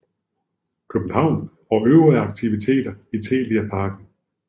København og øvrige aktiviteter i Telia Parken